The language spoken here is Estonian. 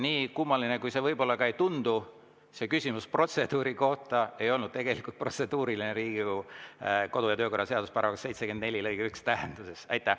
Nii kummaline, kui see ka ei tundu, see küsimus protseduuri kohta ei olnud tegelikult protseduuriline Riigikogu kodu- ja töökorra seaduse § 74 lõike 1 tähenduses.